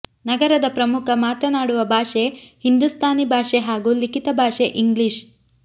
ನಗರದ ಪ್ರಮುಖ ಮಾತನಾಡುವ ಭಾಷೆ ಹಿಂದೂಸ್ಥಾನಿ ಭಾಷೆ ಹಾಗೂ ಲಿಖಿತ ಭಾಷೆ ಇಂಗ್ಲೀಷ್